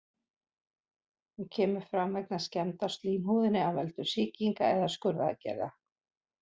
Hún kemur fram vegna skemmda á slímhúðinni af völdum sýkinga eða skurðaðgerða.